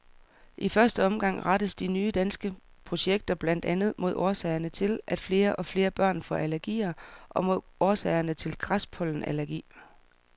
I første omgang rettes de nye danske projekter blandt andet mod årsagerne til, at flere og flere børn får allergier og mod årsagerne til græspollenallergi.